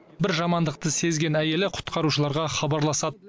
бір жамандықты сезген әйелі құтқарушыларға хабарласады